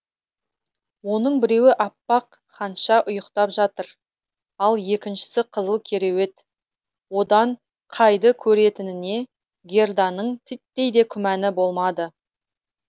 оның біреуі аппақ ханша ұйықтап жатыр ал екіншісі қызыл кереует одан кайды көретініне герданың титтей де күмәні болмады